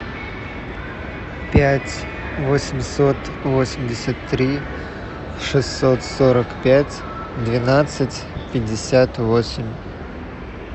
пять восемьсот восемьдесят три шестьсот сорок пять двенадцать пятьдесят восемь